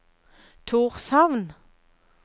Tórshavn